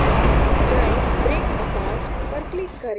path पर जाएँ break apart पर click करें